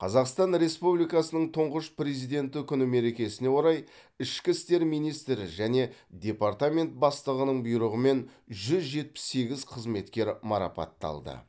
қазақстан республикасының тұңғыш президенті күні мерекесіне орай ішкі істер министрі және департамент бастығының бұйрығымен жүз жетпіс сегіз қызметкер марапатталды